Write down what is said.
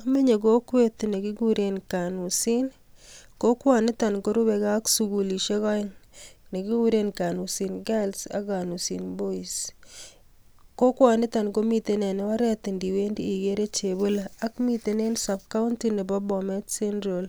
Amenye kokwet nekikuren kanusin, kokwoniton korubike ak sugulisiek peng nekikuren Kanusin Kals ak kanusin Bois. Kokwoniton komiten en oret iniwendi igere chebole ak miten en subcounty nebo Bomet central